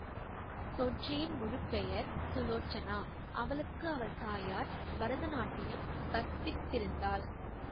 ஸொஜ்ஜியின் முழு பெயர் சுலோசனா அவளுக்கு அவள் தாயார் பரத நாட்டியம் கற்பித்திருந்தாள்